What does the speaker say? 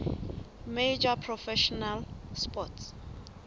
major professional sports